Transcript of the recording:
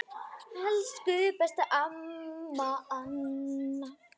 Elsku besta amma Anna.